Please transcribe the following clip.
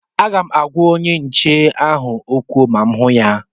Aga m agwa onye nche ahụ okwu ma mụ hụ ya